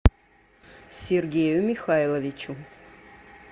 сергею михайловичу